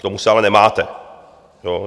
K tomu se ale nemáte.